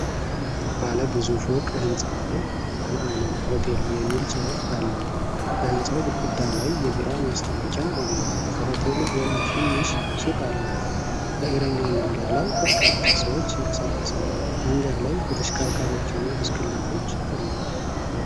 ባለ ብዙ ፎቅ ህንፃ ላይ "መአነን ሆቴል" የሚል ጽሁፍ አለ። በህንፃው ግድግዳ ላይ የቢራ ማስታወቂያ አለ። ከሆቴሉ ጎን ትንሽ ሱቅ አለ። በእግረኛ መንገድ ላይ በርካታ ሰዎች ይንቀሳቀሳሉ። መንገድ ላይ ተሽከርካሪዎችና ብስክሌቶች አሉ።